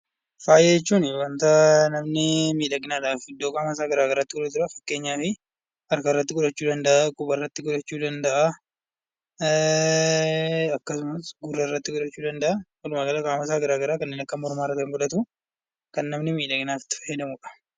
Faaya jechuun waanta namni miidhaginaaf iddoo qaama isaa garagaraatti godhatudha. Fakkeenyaaf harka irratti godhachuu danda'a quba irratti godhachuu danda'a akkasumas gurra irratti godhachuu danda'a. Walumaa gala qaama isaa iddoo garagaraa kanneen akka mormaa irra Kan godhatu walumaa gala Kan namni miidhaginaaf itti fayyadamudha.